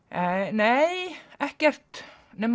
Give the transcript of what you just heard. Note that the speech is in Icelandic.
nei ekkert nema